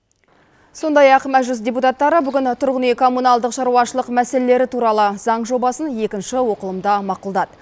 сондай ақ мәжіліс депутаттары бүгін тұрғын үй коммуналдық шаруашылық мәселелері туралы заң жобасын екінші оқылымда мақұлдады